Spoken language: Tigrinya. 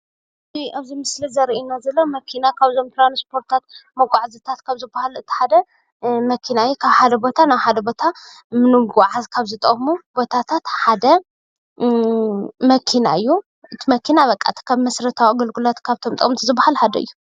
እዚ ምስሊ ካብ ቦታ ናብ ቦታ ንምጉዓዝ ዝጠቅም መኪና እዩ።